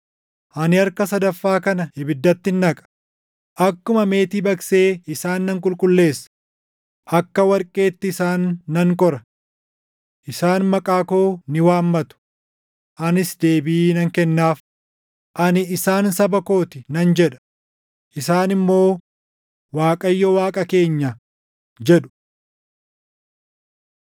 Ani harka sadaffaa kana ibiddattin naqa; akkuma meetii baqsee isaan nan qulqulleessa; akka warqeetti isaan nan qora. Isaan maqaa koo ni waammatu; anis deebii nan kennaaf; ani, ‘Isaan saba koo ti’ nan jedha; isaan immoo, ‘ Waaqayyo Waaqa keenya’ jedhu.”